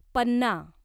पन्ना